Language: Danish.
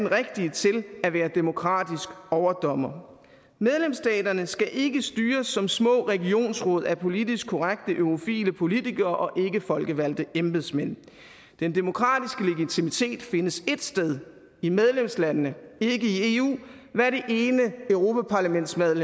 rigtige til at være demokratiske overdommere medlemsstaterne skal ikke styres som små regionsråd af politisk korrekte eurofile politikere og ikkefolkevalgte embedsmænd den demokratiske legitimitet findes ét sted i medlemslandene ikke i eu hvad det ene europaparlamentsvalg